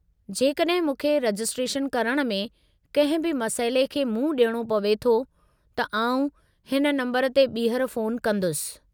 जेकॾहिं मूंखे रजिस्ट्रेशन करण में कंहिं बि मसइले खे मुंहुं ॾियणो पवे थो त आउं हिन नम्बरु ते ॿीहर फ़ोनु कंदुसि।